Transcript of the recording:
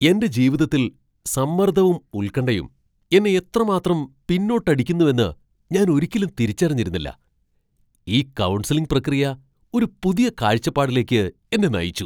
എന്റെ ജീവിതത്തിൽ സമ്മർദ്ദവും ഉൽകണ്ഠയും എന്നെ എത്രമാത്രം പിന്നോട്ടടിക്കുന്നുവെന്ന് ഞാൻ ഒരിക്കലും തിരിച്ചറിഞ്ഞിരുന്നില്ല. ഈ കൗൺസിലിംഗ് പ്രക്രിയ ഒരു പുതിയ കാഴ്ചപ്പാടിലേക്ക് എന്നെ നയിച്ചു.